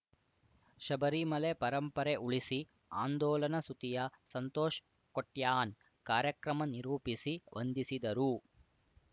ಶಬರಿಮಲೆ ಪರಂಪರೆ ಉಳಿಸಿ ಆಂದೋಲನ ಸುತಿಯ ಸಂತೋಷ್‌ ಕೋಟ್ಯಾನ್‌ ಕಾರ್ಯಕ್ರಮ ನಿರೂಪಿಸಿ ವಂದಿಸಿದರು